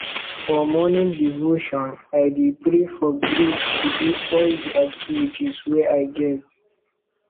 for morning devotion i dey pray for grace to do all di activities wey i get